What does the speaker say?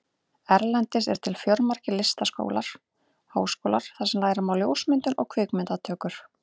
Erlendis eru til fjölmargir listaskólar og háskólar þar sem læra má ljósmyndun og kvikmyndatökur.